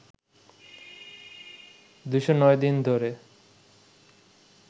২০৯ দিন ধরে